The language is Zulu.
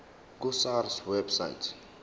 ku sars website